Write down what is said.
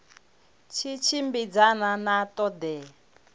tshi tshimbidzana na ṱho ḓea